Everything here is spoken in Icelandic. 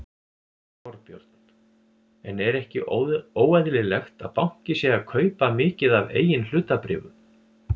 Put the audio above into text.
Þorbjörn: En er ekki óeðlilegt að banki sé að kaupa mikið af eigin hlutabréfum?